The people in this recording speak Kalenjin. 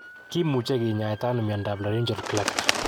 Kimuche kinyaita ano miondap laryngeal cleft?